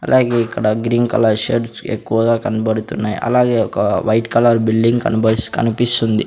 అలాగే ఇక్కడ green colour shirts ఎక్కువగా కనబడుతున్నాయి అలాగే ఒక వైట్ కలర్ బిల్డింగ్ కనిపిస్తుంది.